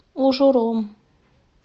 ужуром